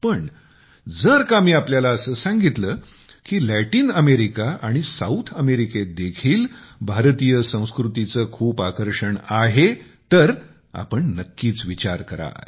पण जर का मी असे सांगितले की लॅटिन अमेरिका आणि साऊथ अमेरिकेतदेखील भारतीय संस्कृतीचे खूप आकर्षण आहे तर आपण नक्कीच विचार कराल